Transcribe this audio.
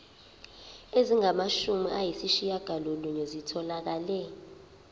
ezingamashumi ayishiyagalolunye zitholakele